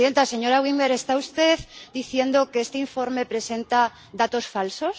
Señora Winberg, ¿está usted diciendo que este informe presenta datos falsos?